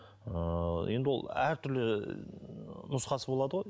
ыыы енді ол әртүрлі ы нұсқасы болады ғой